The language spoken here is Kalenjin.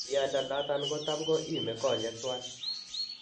Miando natan kotamko ime konyek twan